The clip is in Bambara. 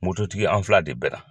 tigi an fila de bɛnna.